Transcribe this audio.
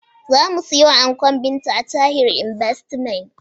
Za mu siyo ankon Binta a Tahir inbastimet